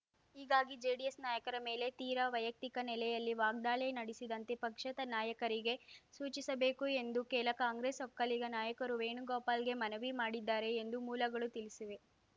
ಹೀಗಾಗಿ ಜೆಡಿಎಸ್‌ ನಾಯಕರ ಮೇಲೆ ತೀರಾ ವೈಯಕ್ತಿಕ ನೆಲೆಯಲ್ಲಿ ವಾಗ್ದಾಳಿ ನಡೆಸಿದಂತೆ ಪಕ್ಷದ ನಾಯಕರಿಗೆ ಸೂಚಿಸಬೇಕು ಎಂದು ಕೆಲ ಕಾಂಗ್ರೆಸ್‌ ಒಕ್ಕಲಿಗ ನಾಯಕರು ವೇಣುಗೋಪಾಲ್‌ಗೆ ಮನವಿ ಮಾಡಿದ್ದಾರೆ ಎಂದು ಮೂಲಗಳು ತಿಳಿಸಿವೆ